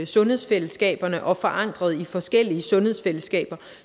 sundhedsfællesskaberne og forankret i forskellige sundhedsfællesskaber